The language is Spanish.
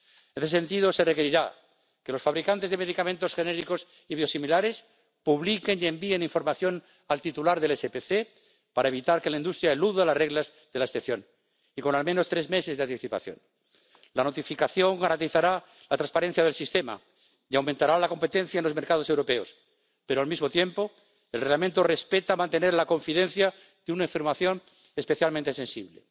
En ese sentido, se requerirá que los fabricantes de medicamentos genéricos y biosimilares publiquen y envíen información al titular del certificado complementario de protección, para evitar que la industria eluda las reglas de la excepción, y con al menos tres meses de anticipación. La notificación garantizará la transparencia del sistema y aumentará la competencia en los mercados europeos, pero, al mismo tiempo, el Reglamento respeta el mantenimiento de la confidencialidad de una información especialmente sensible.